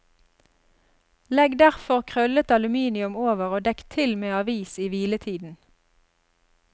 Legg derfor krøllet aluminium over og dekk til med avis i hviletiden.